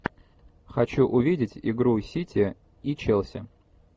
хочу увидеть игру сити и челси